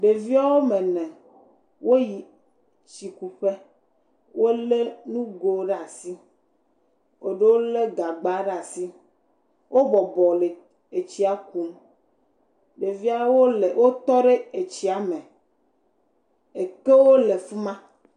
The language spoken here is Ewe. Ɖevi woame ene, woyi tsikuƒe, wolé nugo ɖe asi, eɖewo lé gagba ɖe asi, wobɔbɔ le etsia kum, ɖeviawo le, wotɔ ɖe etsia me, ekewo le fi ma.